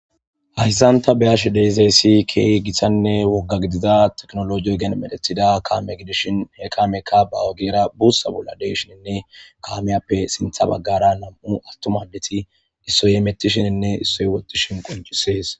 Hayssan ta be'ashe de'izayssi keehi gitanne wogga gidiza teknolooje ogen medhetida kaameshin he kaameyka ba ogera bussa bolla de'eshinne ha kaamiyappe sintha baggara nam'u attuma addeti issoy hemetishininne issoy woxishin qonccisees.